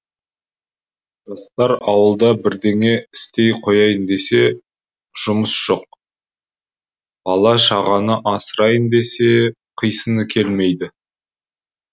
жастар ауылда бірдеңе істей қояйын десе жұмыс жоқ бала шағаны асырайын десе қисыны келмейді